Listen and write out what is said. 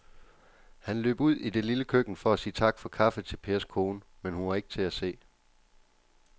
Han løb ud i det lille køkken for at sige tak for kaffe til Pers kone, men hun var ikke til at se.